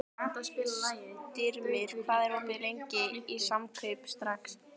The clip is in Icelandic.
Styrmir, hvað er opið lengi í Samkaup Strax?